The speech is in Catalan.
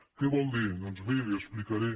què vol dir doncs miri li ho explicaré